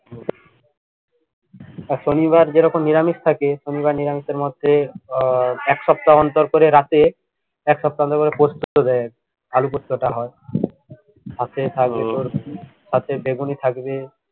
আর শনিবার যেরকম নিরামিষ থাকে শনিবার নিরামিষ এর মধ্যে আহ এক সপ্তাহ অন্তর করে রাতে এক সপ্তাহ অন্তর করে পোস্ত দেয় আরকি আলু পোস্তটা হয় সাথে থাকে তোর সাথে বেগুনি থাকবে